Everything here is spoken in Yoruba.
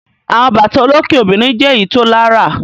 Àwọn bàtà olókè obìnrin jẹ́ èyí tó lárà.